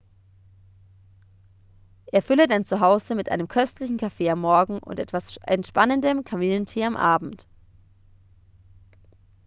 erfülle dein zuhause mit einem köstlichem kaffee am morgen und etwas entspannendem kamillentee am abend